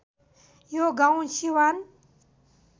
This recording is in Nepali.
यो गाउँ सिवान